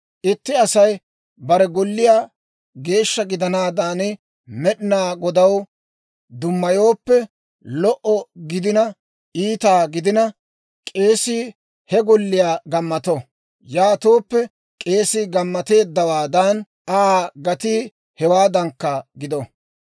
« ‹Itti Asay bare golliyaa geeshsha gidanaadan Med'inaa Godaw dummayooppe, lo"o gidina iita gidina, k'eesii he golliyaa gammato. Yaatooppe k'eesii gammateeddawaadan Aa gatii hewaadankka gido.